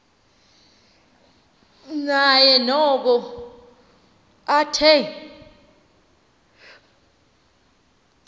naye noko athe